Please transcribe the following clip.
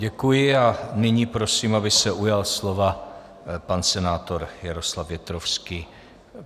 Děkuji a nyní prosím, aby se ujal slova pan senátor Jaroslav Větrovský.